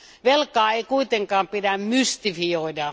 Velkaa ei kuitenkaan pidä mystifioida.